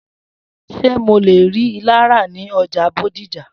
S̩e mò lè rí ilá ra ní o̩jà Bódìjà?